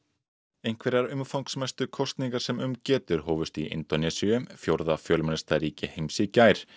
einhverjar umfangsmestu kosningar sem um getur hófust í Indónesíu fjórða fjölmennasta ríki heims í gær